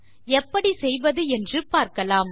எப்படி செய்வது என்று பார்க்கலாம்